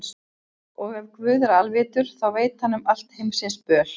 Og ef Guð er alvitur, þá veit hann um allt heimsins böl.